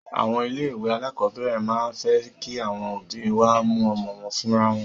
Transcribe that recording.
Àwọn ilé ìwé alákọ̀berẹ̀ máa ń fẹ́ kí àwọn òbí wá mú ọmọ wọn fúnra wọn.